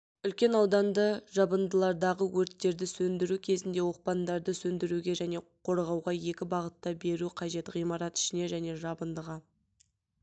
үлкен ауданды жабындылардағы өрттерді сөндіру кезінде оқпандарды сөндіруге және қорғауға екі бағытта беру қажет ғимарат ішіне және жабындыға